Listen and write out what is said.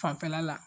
Fanfɛla la